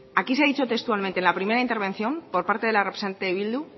aquí se ha dicho textualmente en la primera intervención por parte de la representante de bildu